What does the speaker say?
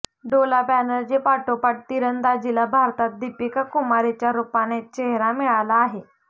डोला बॅनर्जीपाठोपाठ तिरंदाजीला भारतात दीपिका कुमारीच्या रूपाने चेहरा मिळाला आहे